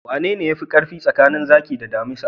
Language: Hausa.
Wanene yafi karfi tsakanin zaki da damisa?